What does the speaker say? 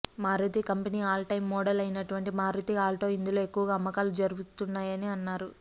Maruti company all time model అయినటువంటి Maruti Alto ఇందులో ఎక్కవగా అమ్మకాలు జరుపుకున్నాయని అన్నారు